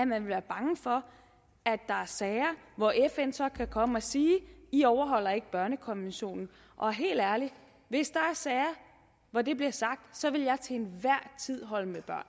man er bange for at der er sager hvor fn så kan komme og sige i overholder ikke børnekonventionen og helt ærligt hvis der er sager hvor det bliver sagt så vil jeg til enhver tid holde